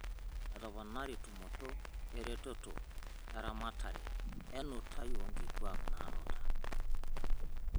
Etoponari tumoto eretoto aramatare enutai oo nkituak naanuta